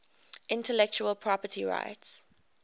intellectual property rights